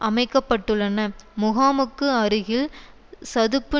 அமைக்க பட்டுள்ளன முகாமுக்கு அருகில் சதுப்பு